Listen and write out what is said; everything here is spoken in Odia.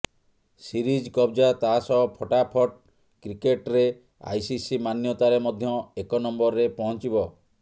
ସିରିଜ କବ୍ଜା ତା ସହ ଫଟାଫଟ୍ କ୍ରିକେଟ୍ରେ ଆଇସିସି ମାନ୍ୟତାରେ ମଧ୍ୟ ଏକ ନମ୍ବରରେ ପହଞ୍ଚିବ